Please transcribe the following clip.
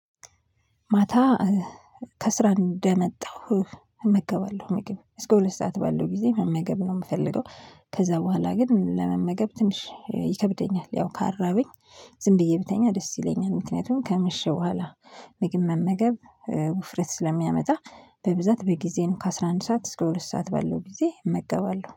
ማታ ከስራ እንደመጣሁ እመገባለሁ ምግብ እስከ ሁለት ሰዓት ባለው ጊዜ መመገብ ነው ምፈልገው ከዛ በኋላ ግን ለመመገብ ትንሽ ይከብደኛል ያው ካራበኝ ዝም ብዬ ብተኛ ደስ ይለኛል ምክንያቱም ከመሸ በኋላ ምግብ መመገብ ውፍረት ስለሚያመጣ በብዛት በጊዜ ነው ከ አስራ አንድ ሰዓት እስከ ሁለት ሰዓት በለው ጊዜ እመገባለሁ።